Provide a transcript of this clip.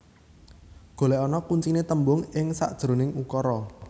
Golekana kuncine tembung ing sakjeroning ukara